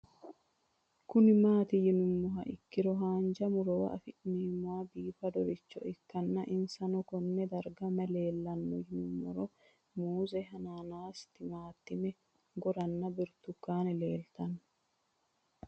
Kuni mati yinumoha ikiro hanja murowa afine'mona bifadoricho ikana isino Kone darga mayi leelanno yinumaro muuze hanannisu timantime gooranna buurtukaane leelitoneha